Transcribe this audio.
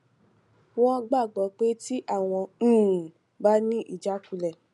wón gbàgbó pé tí àwọn um bá ní ìjákulẹ